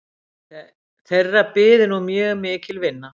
Þeirra byði nú mjög mikil vinna